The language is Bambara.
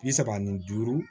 Bi saba ani duuru